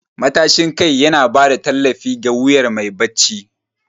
Matashin kai yana ba da tallafi ga wuyan mai barci.